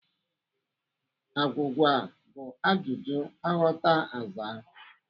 Agwụgwa bụ ajụjụ aghọta azaa.